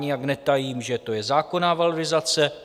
Nijak netajím, že to je zákonná valorizace.